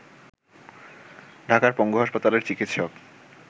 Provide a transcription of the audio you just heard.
ঢাকারপঙ্গু হাসপাতালের চিকিৎসক